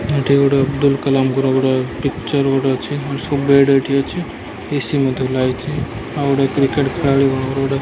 ଏଠି ଗୋଟେ ଅବଦୁଲ୍ କାଲାମଙ୍କର ଗୋଟେ ପିକ୍ଚର୍ ଗୋଟେ ଅଛି। ଶୋ ବେଡ଼ ଏଠି ଅଛି। ଏ_ସି ମଧ୍ୟ ଲାଗିଚି। ଆଉ ଗୋଟେ କ୍ରିକେଟ ଖେଳାଳିମାନଙ୍କର ଗୋଟେ --